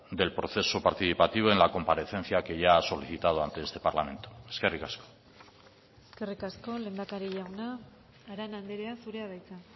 del proceso participativo en la comparecencia que ya ha solicitado ante este parlamento eskerrik asko eskerrik asko lehendakari jauna arana andrea zurea da hitza